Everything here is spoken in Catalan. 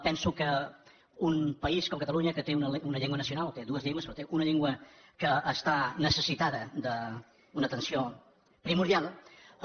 penso que un país com catalunya que té una llengua nacional té dues llengües però té una llengua que està necessitada d’una atenció primordial